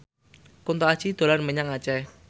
Kunto Aji dolan menyang Aceh